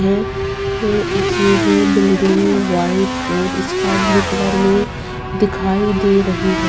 ये ये है बिल्डिंग व्हाइट और स्कीबलुए कलर में दिखाई दे रही है।